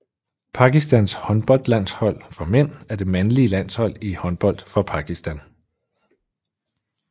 Pakistans håndboldlandshold for mænd er det mandlige landshold i håndbold for Pakistan